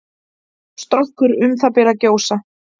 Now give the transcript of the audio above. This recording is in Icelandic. Strokkur um það bil að gjósa.